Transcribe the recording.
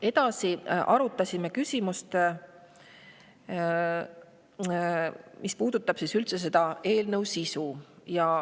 Edasi arutasime küsimust, mis puudutab eelnõu sisu üldiselt.